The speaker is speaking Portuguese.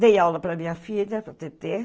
Dei aula para a minha filha, para a Tetê.